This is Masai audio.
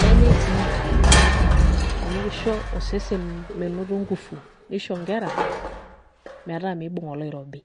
nenyai si amu kisho osesen menoto ngufu, nisho nkera, metaa miibung' oloirobi.